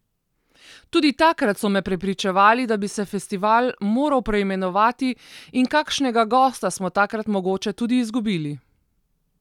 Tudi takrat so me prepričevali, da bi se festival moral preimenovati, in kakšnega gosta smo takrat mogoče tudi izgubili.